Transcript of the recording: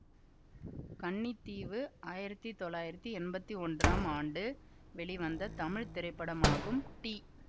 கன்னித்தீவு ஆயிரத்தி தொள்ளாயிரத்தி எம்பத்தி ஒன்றாம் ஆண்டு வெளிவந்த தமிழ் திரைப்படமாகும் டி